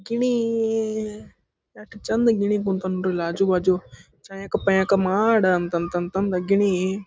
ಗಿಣಿ ಈ ಎಷ್ಟು ಚಂದ ಗಿಣಿ ಕುಂತಾವ್ ನೋಡ್ರಿ ಇಲ್ಲಿ ಆಜು ಬಾಜು ಮಾಡ ಅಂತಂತ ಗಿಣಿ--